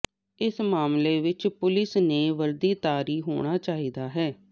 ਇਸ ਮਾਮਲੇ ਵਿੱਚ ਪੁਲਿਸ ਨੇ ਵਰਦੀਧਾਰੀ ਹੋਣਾ ਚਾਹੀਦਾ ਹੈ